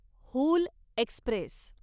Hul Express